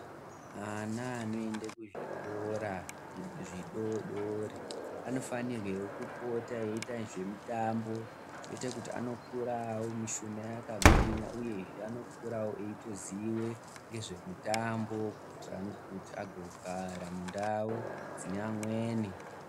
Ana anoende kuzvikora zvidodori anofanirwewo kupota eiita zvemitambo, zvoita kuti anokura mishuna yakagwinya, uyezve anokurawo eitoziye ngezvemitambo kuitira kuti azogara mundau dzine amweni.